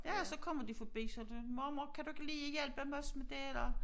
Ja og så kommer de forbi sådan mormor kan du ikke lige hjælpe os med det eller